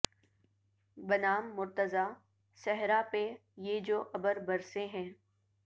بنام مرتضی صحرا پہ یہ جو ابر برسے ہیں